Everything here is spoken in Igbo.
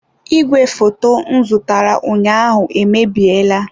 Igwefoto m zụtara ụnyaahụ emebiela.